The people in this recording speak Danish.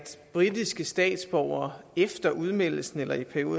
britiske statsborgere efter udmeldelsen af eu